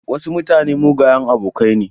Wasu mutane mugayen abokai ne.